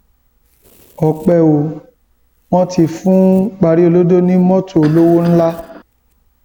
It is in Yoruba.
ọpẹ ò wọn ti fún pariolodo ní mọtò olówó ńlá